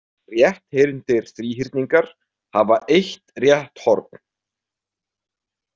Rétthyrndir þríhyrningar hafa eitt rétt horn.